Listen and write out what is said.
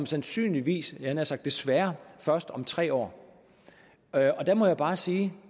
sandsynligvis jeg havde nær sagt desværre først om tre år der må jeg bare sige